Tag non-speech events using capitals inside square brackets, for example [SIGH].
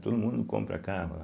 Todo mundo compra carro [UNINTELLIGIBLE]